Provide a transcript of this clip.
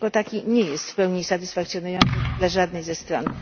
Jako taki nie jest w pełni satysfakcjonujący dla żadnej ze stron.